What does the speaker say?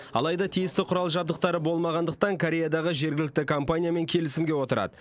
алайда тиісті құрал жабдықтары болмағандықтан кореядағы жергілікті компаниямен келісімге отырады